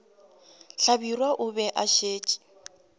hlabirwa o be a šetše